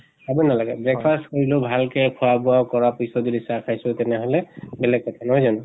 খাবই নালাগে। breakfast কৰিলেও ভাল কে খোৱা বোৱা কৰাৰ পিছত যদি চাহ খাইছো তেনেহলে বেলেগ কথা, নহয় জানো?